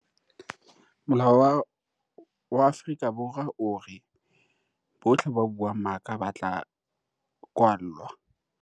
Molao wa Afrika Borwa o re, bohle ba buang maka ba tla kwallwa.